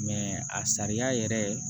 a sariya yɛrɛ